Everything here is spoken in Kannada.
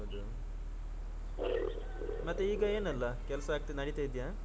ಹೌದು ಮತ್ತೆ ಈಗ ಏನೆಲ್ಲಾ ಕೆಲಸ ಆಗ್ತ ನಡೆತ ಇದೆಯಾ.